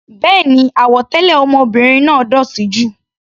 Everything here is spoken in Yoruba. Béèni, àwọ̀ tẹlẹ ọmọbìnrin náà dótì jù.